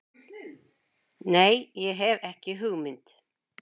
Nei, ég hef ekki hugmynd.